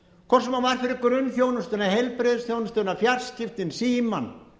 hvort sem það var fyrir grunnþjónustuna heilbrigðisþjónustuna fjarskiptin símann